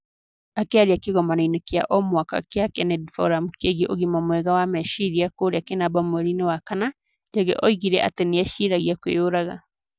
Akĩaria kĩgomano-inĩ kĩa o mwaka kĩa Kennedy Forum kĩgiĩ ũgima mwega wa meciria kũrĩa kĩnamba mweri-inĩ wa kana, njagĩ oigire atĩ nĩ eciragia kwĩyũraga.